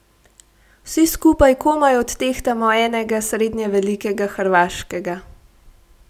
Vsi skupaj komaj odtehtamo enega srednje velikega hrvaškega.